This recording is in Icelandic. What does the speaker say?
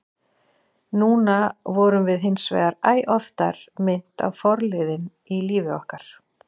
Núna vorum við hinsvegar æ oftar minnt á forliðinn í lífi okkar.